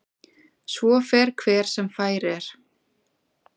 Svo fer hver sem fær er.